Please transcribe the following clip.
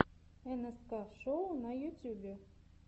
нск шоу на ютьюбе